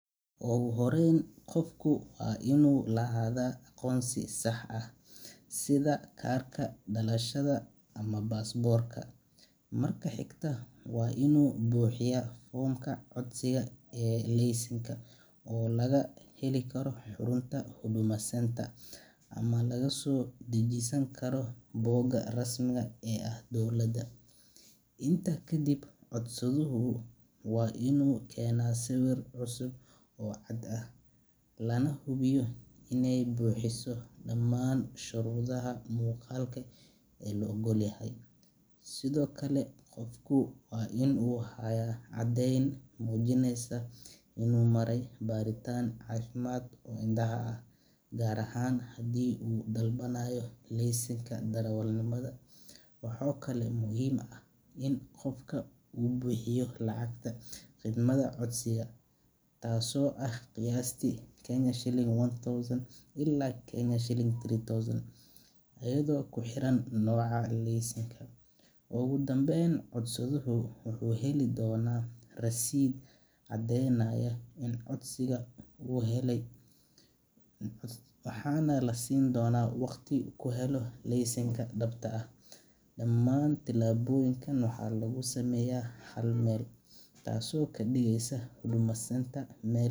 Marka hore, qofka waa inuu lahaadaa aqoonsi sax ah, sida kaarka dhalashada ama baasaboorka. Marka xigta, waa inuu buuxiyaa foomka codsiga ee laysanka oo laga heli karo xarunta Huduma Centre ama laga soo dejisan karo bogga rasmiga ah ee dowladda. Intaa kadib, codsaduhu waa inuu keenaa sawir cusub oo cad ah, lana hubiyo iney buuxiso dhammaan shuruudaha muuqaalka ee la oggol yahay. Sidoo kale, qofka waa inuu hayaa caddayn muujinaysa inuu maray baaritaan caafimaad oo indhaha ah, gaar ahaan haddii uu dalbanayo laysanka darawalnimada. Waxaa kaloo muhiim ah in qofka uu bixiyo lacagta khidmadda codsiga, taasoo ah qiyaastii Ksh one thousand ilaa Ksh three thousand, iyadoo ku xiran nooca laysanka. Ugu dambeyn, codsaduhu wuxuu heli doonaa rasiidh caddaynaya in codsigiisa la helay, waxaana la siin doonaa waqti uu ku helo laysanka dhabta ah. Dhammaan tallaabooyinkan waxaa lagu sameeyaa hal meel, taasoo ka dhigeysa Huduma Centre meel.